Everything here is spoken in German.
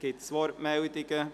Gibt es Wortmeldungen?